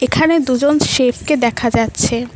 এখানে দুজন সেফকে দেখা যাচ্ছে।